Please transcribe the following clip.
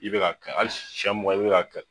I bɛ ka kɛ hali sɛn mugan i bɛ ka kɛ.